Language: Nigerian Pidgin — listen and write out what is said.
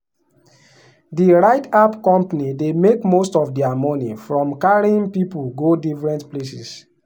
the ride app company dey make most of their money from carrying people go different places.